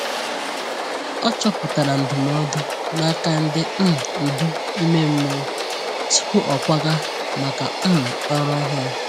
O chọpụtara ndụmọdụ n’aka ndi um ndu ime mmụọ tupu ọ kwaga maka um ọrụ ọhụrụ.